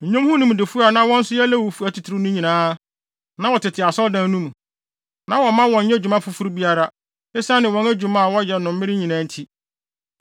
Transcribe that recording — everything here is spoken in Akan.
Nnwom ho nimdefo a na wɔn nso yɛ Lewifo atitiriw no nyinaa, na wɔtete Asɔredan no mu. Na wɔmma wɔnnyɛ dwuma foforo biara, esiane wɔn adwuma a wɔyɛ no mmere nyinaa nti.